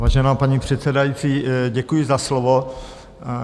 Vážená paní předsedající, děkuji za slovo.